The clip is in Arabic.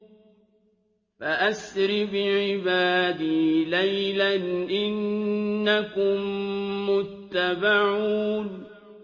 فَأَسْرِ بِعِبَادِي لَيْلًا إِنَّكُم مُّتَّبَعُونَ